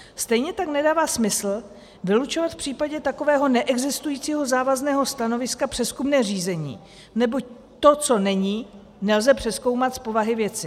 Stejně tak nedává smysl vylučovat v případě takového neexistujícího závazného stanoviska přezkumné řízení, neboť to, co není, nelze přezkoumat z povahy věci.